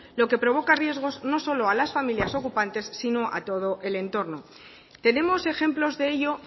lo que provoca riesgos no solo a las familias ocupantes sino a todo el entorno tenemos ejemplos de ello